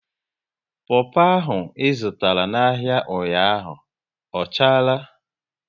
Popo ahụ ị zụtara n'ahia ụnyaahụ ọ chara?